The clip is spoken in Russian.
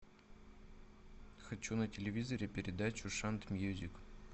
хочу на телевизоре передачу шант мьюзик